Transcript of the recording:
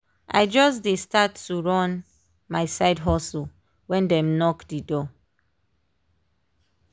i just dey start to run my side hustle when dem knock d door.